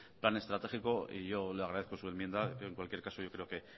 plan estratégico y yo le agradezco su enmienda pero en cualquier caso yo creo que